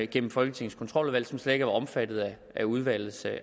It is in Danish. gennem folketingets kontroludvalg som slet ikke omfattet af udvalgets